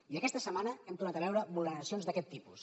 i aquesta setmana hem tornat a veure vulneracions d’aquest tipus